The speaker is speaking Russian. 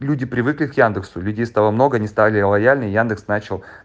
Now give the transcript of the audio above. люди привыкли к яндексу людей стало много они стали лояльней яндекс начал